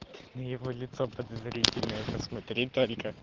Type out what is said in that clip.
ну его лицо подозрительное посмотри только